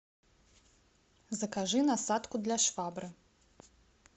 закажи насадку для швабры